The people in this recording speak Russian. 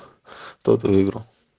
кто выиграл